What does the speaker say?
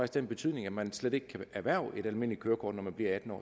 den betydning at man slet ikke kan erhverve et almindeligt kørekort når man bliver atten år